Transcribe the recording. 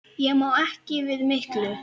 Ég má ekki við miklu.